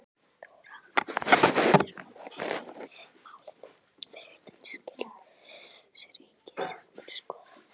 Þóra Arnórsdóttir: En hvað með málið fyrir utan skýrslu ríkisendurskoðunar?